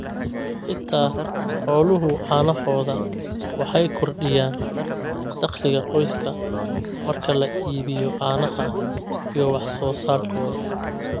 xitaa xooluhu canahooxda waxay kordhiyaan dakhliga qoyska marka la iibiyo caanaha iyo wax soo saarkooda.